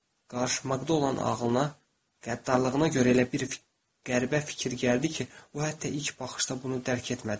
Qarışmaqda olan ağılına qəddarlığına görə elə bir qəribə fikir gəldi ki, o hətta ilk baxışda bunu dərk etmədi.